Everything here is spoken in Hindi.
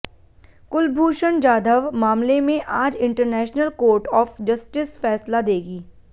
कुलभूषण जाधव मामले में आज इंटरनेशल कोर्ट ऑफ जस्टिस फैसला देगी